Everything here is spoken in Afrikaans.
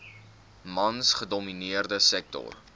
mans gedomineerde sektor